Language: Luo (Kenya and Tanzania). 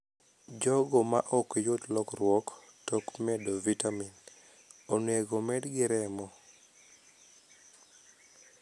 Jogo maok yud lokruok tok medo vitamin onego omednegi remo.